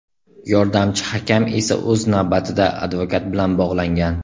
Yordamchi hakam esa o‘z navbatida advokat bilan bog‘langan.